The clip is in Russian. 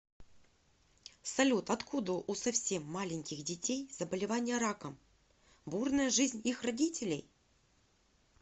салют откуда у совсем маленьких детей заболевание раком бурная жизнь их родителей